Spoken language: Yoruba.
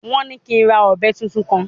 Wọ́n ní kí n ra ọ̀bẹ tuntun kan